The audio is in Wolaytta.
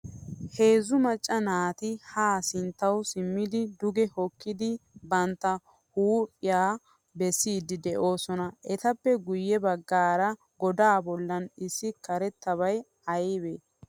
Heezzu macca naati haa sinttawu simmidi duge hokkidi bantta huuphphiyaa bessidi deosona. Etappe guye baggaara godaa bollan issi karettabay aybe?